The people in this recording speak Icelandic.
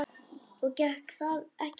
Og gekk það ekki vel.